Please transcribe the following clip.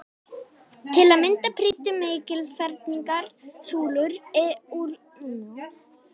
Til að mynda prýddu mikilfenglegar súlur úr leir musteri borgarinnar.